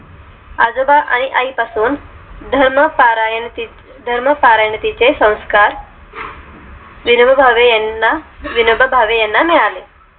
आजोबा आणि आई पासून धर्म पारायणे ती धर्मकारणाची चे संस्कार तीन वगळा वे यांना विनोबा भावे यांना मिळाले